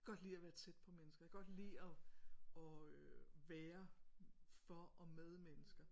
Jeg kan godt lide at være tæt på mennesker jeg kan godt lide og og øh være for og med mennesker